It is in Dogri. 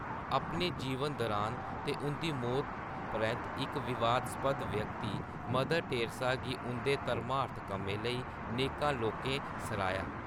अपने जीवन दौरान ते उं’दी मौत परैंत्त इक विवादास्पद व्यक्ति, मदर टेरेसा गी उं’दे धर्मार्थ कम्में लेई नेकां लोकें सराहेआ।